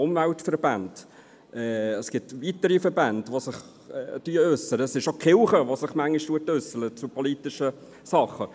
Umweltverbände und weitere Verbände äussern sich, auch die Kirche äusserst sich manchmal zu politischen Dingen.